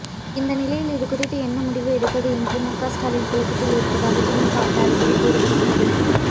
இந்த நிலையில் இது குறித்து என்ன முடிவு எடுப்பது என்று முகஸ்டாலின் குழப்பத்தில் இருப்பதாக திமுக வட்டாரத்தில் கூறப்படுகிறது